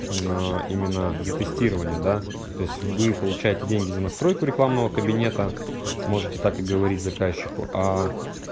но именно за тестирование да то есть вы получаете деньги за настройку рекламного кабинета можете так и говорить заказчику аа